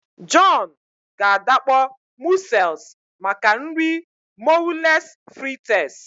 John ga adakpọ mussels maka nri moules frites